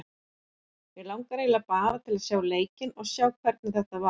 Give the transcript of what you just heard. Mig langar eiginlega bara að sjá leikinn og sjá hvernig þetta var.